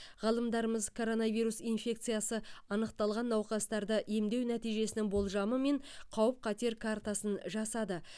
ғалымдарымыз коронавирус инфекциясы анықталған науқастарды емдеу нәтижесінің болжамы мен қауіп қатер картасын жасады